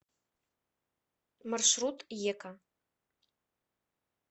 маршрут ека